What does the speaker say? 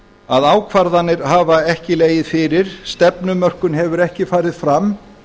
að ákvarðanir hafa ekki legið fyrir stefnumörkun hefur ekki farið fram